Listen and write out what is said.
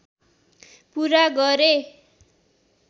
पुरा गरे